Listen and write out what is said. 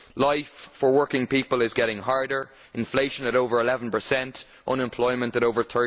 Life for working people is getting harder, with inflation at over 11 and unemployment at over